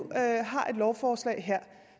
har et lovforslag her